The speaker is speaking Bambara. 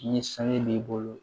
Ni sanu b'i bolo